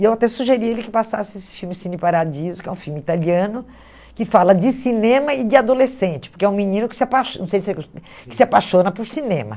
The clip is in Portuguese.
E eu até sugeri a ele que passasse esse filme, Cine Paradiso, que é um filme italiano, que fala de cinema e de adolescente, porque é um menino que se apaixo que se apaixona por cinema.